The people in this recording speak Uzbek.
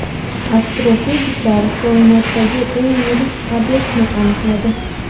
Astrofiziklar koinotdagi eng yirik obyektni aniqladi.